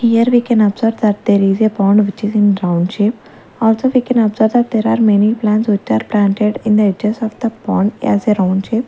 here we can observe that there is a pond which is in round shape also we can observe there are many plants which are planted in the edges of the pond as a round shape.